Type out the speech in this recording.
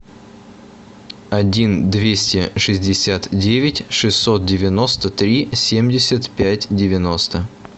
один двести шестьдесят девять шестьсот девяносто три семьдесят пять девяносто